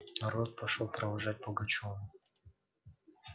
народ пошёл провожать пугачёва